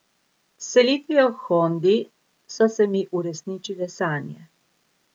S selitvijo k Hondi so se mi uresničile sanje.